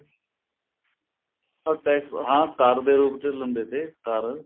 ਹਾਂ tax ਹਾਂ ਕਰ ਦੇ ਰੂਪ ਚ ਲੈਂਦੇ ਤੇ ਕਰ